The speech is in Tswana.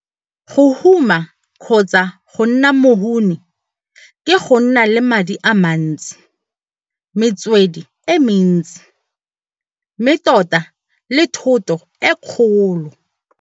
Go huma kgotsa go nna mohuni ke go nna le madi a mantsi, metswedi e mentsi, mme tota le thoto e kgolo.